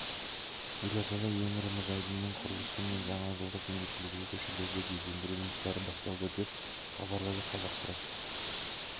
елордада ең ірі мұз айдынының құрылысы мен жаңажылдық мерекелерге көшелерді безендіру жұмыстары басталды деп хабарлады қазақпарат